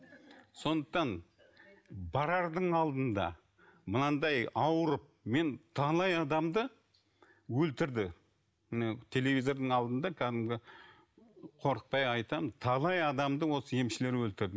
сондықтан барардың алдында мынандай ауырып мен талай адамды өлтірді телевизордың алдында кәдімгі қорықпай айтамын талай адамды осы емшілер өлтірді